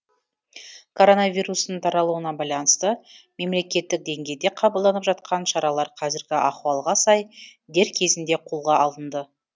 коронавирустың таралуына байланысты мемлекеттік деңгейде қабылданып жатқан шаралар қазіргі ахуалға сай дер кезінде қолға алынды